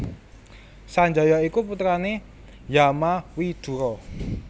Sanjaya iku putrane Yamawidura